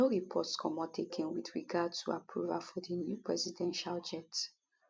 no reports comot again wit regard to approval for di new presidential jet